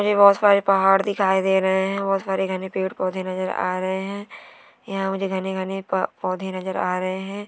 मूझे बहुत सारे पहाड़ दिखाई दे रहे हैं बहुत सारे घने पेड़ पौधे नजर आ रहे हैं यहां मुझे घने घने पौ पौधे नजर आ रहे हैं।